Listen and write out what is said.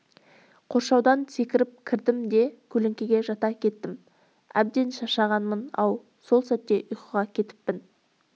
қоршаудан секіріп кірдім де көлеңкеге жата кеттім әбден шаршағанмын-ау сол сәтте ұйықтап кетіппін